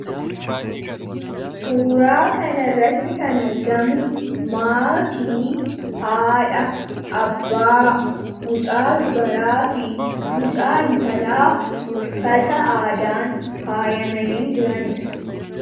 Suuraa kanaa gadii irratti kan argamu maatii, haadhaa fi ijoolleewwan isaaniiti. Isaanis uffata aadaan faayyamanii kan jirani dha.